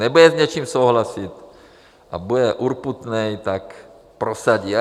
Nebude s něčím souhlasit a bude urputný, tak prosadí.